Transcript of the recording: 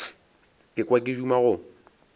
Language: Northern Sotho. ka kwa ke duma go